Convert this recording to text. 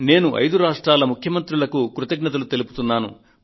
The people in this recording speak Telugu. నేను ఐదు రాష్ట్రాల ముఖ్యమంత్రులకు ధన్యవాదాలు పలుకుతున్నాను